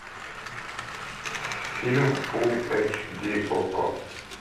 фильм фул эч ди окко